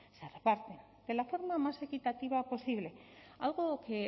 se reparten de la forma más equitativa posible algo que